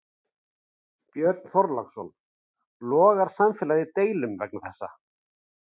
Björn Þorláksson: Logar samfélagið í deilum vegna þessa?